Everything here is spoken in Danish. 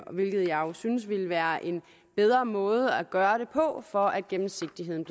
hvilket jeg jo synes ville være en bedre måde at gøre det på for at gennemsigtigheden